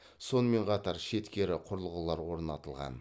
сонымен қатар шеткері құрылғылар орнатылған